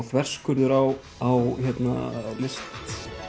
þverskurður á á list